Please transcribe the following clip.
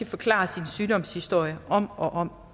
forklare sin sygdomshistorie om og om